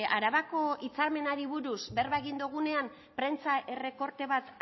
arabako hitzarmenari buruz berba egin dogunean prentsa errekorte bat